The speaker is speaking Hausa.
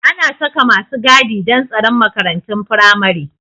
Ana saka masu gadi don tsaron makarantun firamare